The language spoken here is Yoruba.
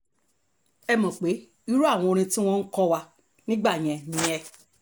ẹ mọ̀ pé irú àwọn orin tí wọ́n ń kọ wà nígbà yẹn nìyẹn